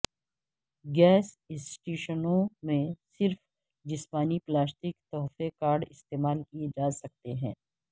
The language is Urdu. گیس اسٹیشنوں میں صرف جسمانی پلاسٹک تحفہ کارڈ استعمال کیے جا سکتے ہیں